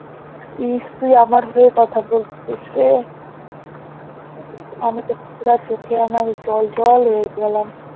ইস তুই আমার হয়ে কথা বলতেসিস রে আমিতো পুরা চোখে আমার জল জল হয়ে গেলাম